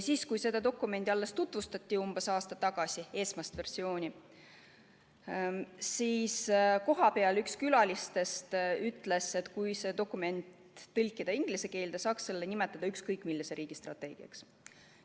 Kui selle dokumendi esmast versiooni tutvustati – see oli umbes aasta tagasi –, siis kohapeal üks külalistest ütles, et kui tõlkida see dokument inglise keelde, võik seda pidada ükskõik millise riigi strateegiaks.